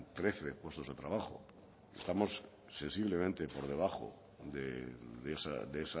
trece puestos de trabajo estamos sensiblemente por debajo de